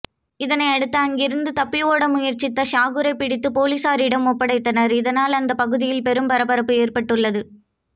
இதனை அடுத்து அங்கிருந்து தப்பியோட முயற்சித்த ஷாக்கூரை பிடித்து போலீசாரிடம் ஒப்படைத்தார் இதனால் அந்த பகுதியில் பெரும் பரபரப்பு ஏற்பட்டுள்ளது